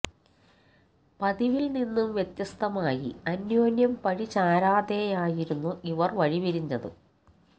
പതിവില് നിന്നും വ്യത്യസ്തമായി അന്യോന്യം പഴി ചാരാതെയായിരുന്നു ഇവര് വഴിപിരിഞ്ഞത്